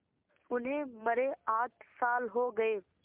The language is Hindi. उन्हें मरे आठ साल हो गए